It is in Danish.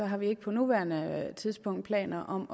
har vi ikke på nuværende tidspunkt planer om